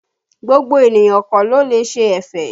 Gbogbo ènìyàn kọ́ ló lè ṣe ẹ̀fẹ̀